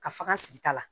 Ka faga sigi ta la